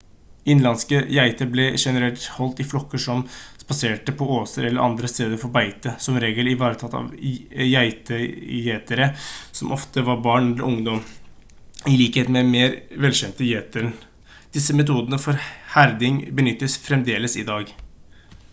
innenlandske geiter ble generelt holdt i flokker som spaserte på åser eller andre steder for beite som regel ivaretatt av geitegjetere som ofte var barn eller ungdom i likhet med den mer velkjente gjeteren disse metodene for herding benyttes fremdeles i dag